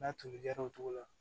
N'a tolikɛra o cogo la